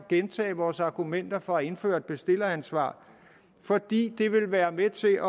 at gentage vores argumenter for at indføre et bestilleransvar det vil være med til